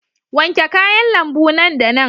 Wanke kayan lambu nan da nan.